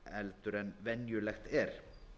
heldur en venjulegt er